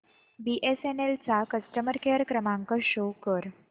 BSNL चा customer care क्रमांक show कर